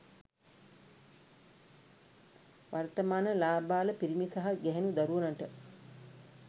වර්තමාන ළාබාල පිරිමි සහ ගැහැනු දරුවනට